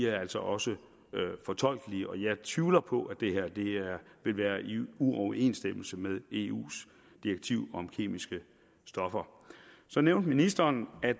altså også fortolkes og jeg tvivler på at det her ville være i uoverensstemmelse med eus direktiv om kemiske stoffer så nævnte ministeren at